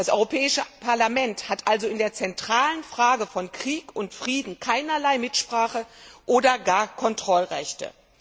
Das Europäische Parlament hat also in der zentralen Frage von Krieg und Frieden keinerlei Mitsprache oder gar Kontrollrechte.